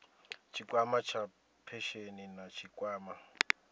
tshikwama tsha phesheni na tshikwama